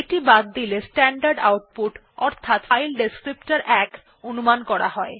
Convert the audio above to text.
এটি বাদ দিলে স্ট্যান্ডার্ড আউপুট অর্থাৎ ফাইল বর্ণনাকারী ১ অনুমান করা হয়